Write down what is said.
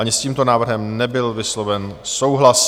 Ani s tímto návrhem nebyl vysloven souhlas.